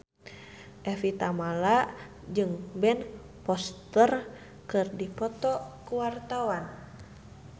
Evie Tamala jeung Ben Foster keur dipoto ku wartawan